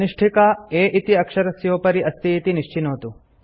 कनिष्ठिका A इति अक्षरस्योपरि अस्ति इति निश्चिनोतु